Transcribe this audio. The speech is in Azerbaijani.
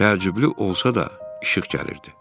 Təəccüblü olsa da işıq gəlirdi.